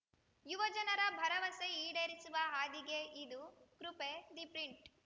ಯುವಜನರ ಭರವಸೆ ಈಡೇರಿಸುವ ಹಾದಿಯೇ ಇದು ಕೃಪೆ ದಿ ಪ್ರಿಂಟ್‌